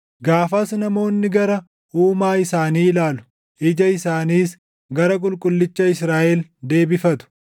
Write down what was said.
Gaafas namoonni gara Uumaa isaanii ilaalu; ija isaaniis gara Qulqullicha Israaʼel deebifatu.